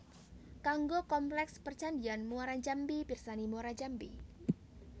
Kanggo kompleks percandhian Muarajambi pirsani Muarajambi